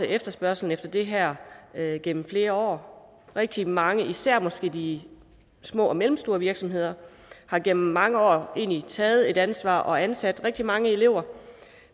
efterspørgslen efter det her gennem flere år rigtig mange især måske de små og mellemstore virksomheder har gennem mange år egentlig taget et ansvar og ansat rigtig mange elever